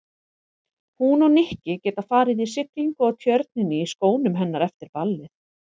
Hún og Nikki geta farið í siglingu á Tjörninni í skónum hennar eftir ballið.